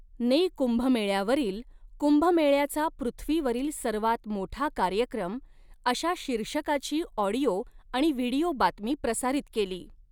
ने कुंभमेळ्यावरील 'कुंभमेळ्याचा पृथ्वीवरील सर्वात मोठा कार्यक्रम' अशा शीर्षकाची ऑडिओ आणि व्हिडिओ बातमी प्रसारित केली.